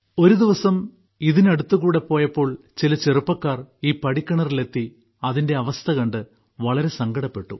ഒരുദിവസം ഇതിലൂടെ പോയപ്പോൾ ചില ചെറുപ്പക്കാർ ഈ പടിക്കിണറിലെത്തി അതിന്റെ അവസ്ഥകണ്ട് വളരെ സങ്കടപ്പെട്ടു